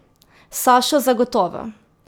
Sašo zagotovo!